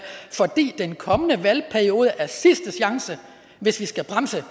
fordi den kommende valgperiode er sidste chance hvis vi skal bremse